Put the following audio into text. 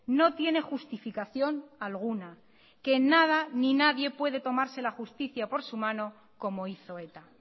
no tiene justificación alguna que nada ni nadie puede tomarse la justicia por su mano como hizo eta